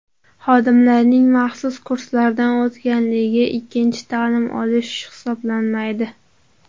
Xodimlarning maxsus kurslardan o‘tganligi ikkinchi ta’lim olish hisoblanmaydi.